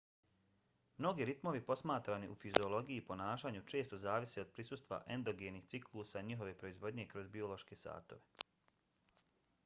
mnogi ritmovi posmatrani u fiziologiji i ponašanju često zavise od prisustva endogenih ciklusa i njihove proizvodnje kroz biološke satove